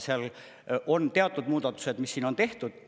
Seal on teatud muudatused, mis siin on tehtud.